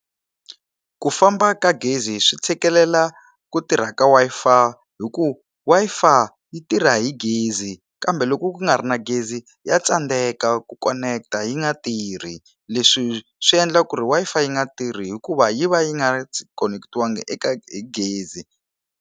Ku famba ka gezi swi tshikelela ku tirha ka Wi-Fi hi ku Wi-Fi yi tirha hi gezi kambe loko ku nga ri na gezi ya tsandeka ku koneketa yi nga tirhi leswi swi endla ku ri Wi-Fi yi nga tirhi hikuva yi va yi nga konekitiwangi eka gezi.